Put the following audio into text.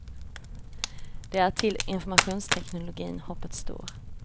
Det är till informationsteknologin hoppet står.